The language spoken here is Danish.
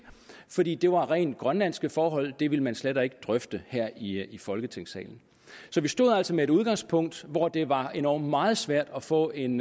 fordi det var rent grønlandske forhold det ville man slet ikke drøfte her i i folketingssalen vi stod altså med et udgangspunkt hvor det var endog meget svært at få en